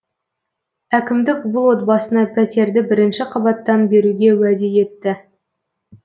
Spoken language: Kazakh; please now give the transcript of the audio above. әкімдік бұл отбасына пәтерді бірінші қабаттан беруге уәде етті